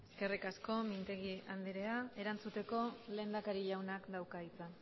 eskerrik asko mintegi andrea erantzuteko lehendakari jaunak dauka hitza